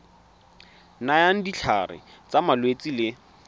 nayang ditlhare tsa malwetse le